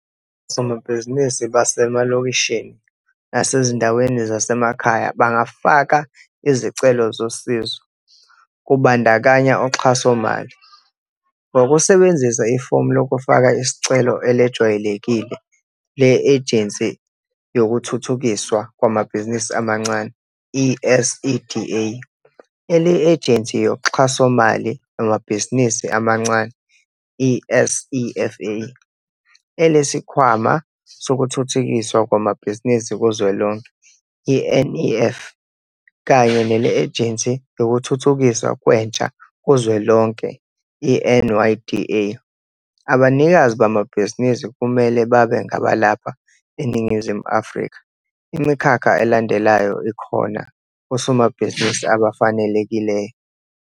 Osomabhizinisi basemalokishini nasezindaweni zasemakhaya bangafaka izicelo zosizo, kubandakanya uxhasomali, ngokusebenzisa ifomu lokufaka isicelo elejwayelekile le-Ejensi Yokuthuthukiswa Kwamabhizinisi Amancane, i-SEDA, ele-Ejensi Yoxhasomali Lwamabhizinisi Amancane, i-SEFA, eleSikhwama Sokuthuthukiswa Kwamabhizinisi Kuzwelonke, i-NEF, kanye nele-Ejensi Yokuthuthukiswa Kwentsha Kuzwelonke, i-NYDA. Abanikazi bamabhizinisi kumele babe ngabalapha eNingizimu Afrika. Imikhakha elandelayo ikhona kosomabhizinisi abafanelekile.